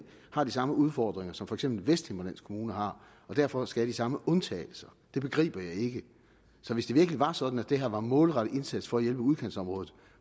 har de samme udfordringer som for eksempel vesthimmerlands kommune har og derfor skal have de samme undtagelser så hvis det virkelig var sådan at det her var en målrettet indsats for at hjælpe udkantsområdet